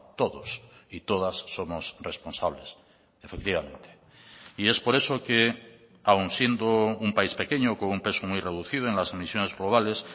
todos y todas somos responsables efectivamente y es por eso que aun siendo un país pequeño con un peso muy reducido en las emisiones globales